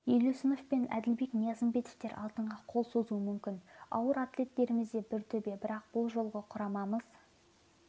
елеусіновпенәділбек ниязымбетовтер алтынға қол созуы мүмкін ауыр атлеттеріміз де бір төбе бірақ бұл жолғы құрамымыз